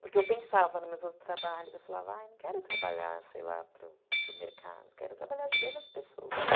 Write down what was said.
Porque eu pensava nos meus outros trabalhos, eu falava, não quero trabalhar, sei lá, para o mercado, quero trabalhar ajudando as pessoas.